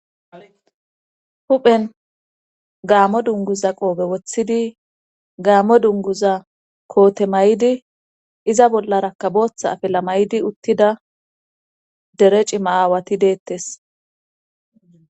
Huphen gaammo dunguza qoobe woththidi gaammo dunguza koote may7di iza bollara kaboththa afila maydi uttida dere cima aawati deettes.